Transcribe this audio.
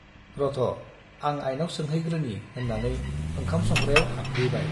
रथ' आं आइनाव सोंहैग्रोनि' होन्नानै ओंखाम संग्रायाव हाबहैबाय ।